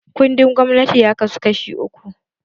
Kundin gwamnati ya kasu kashi uku